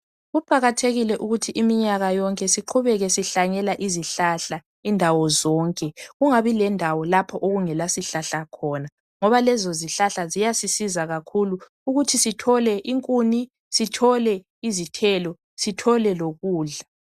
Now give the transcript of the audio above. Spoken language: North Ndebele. Kuqakathekile ukuthi iminyaka yonke siqhubeke sihlanyela izihlahla indawo zonke, kungabi lendawo lapho okungela sihlahla khona ngoba lezo zihlahla ziyasisiza kakhulu ukuthi sithole inkuni, sithole izithelo sithole lokudla.